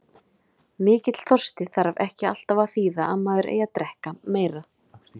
Mikill þorsti þarf ekki alltaf að þýða að maður eigi að drekka meira.